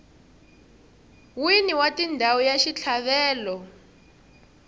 wini wa ndhawu ya xitlhavelo